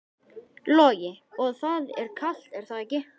Logi: Og það er kalt er það ekki?